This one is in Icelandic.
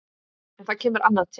En það kemur annað til.